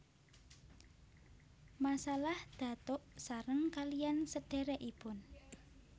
Masalah datuk sareng kaliyan sedherekipun